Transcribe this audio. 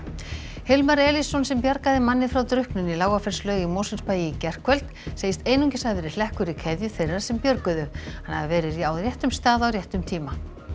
Hilmar Elísson sem bjargaði manni frá drukknun í Lágafellslaug í Mosfellsbæ í gærkvöld segist einungis hafa verið hlekkur í keðju þeirra sem björguðu hann hafi verið á réttum stað á réttum tíma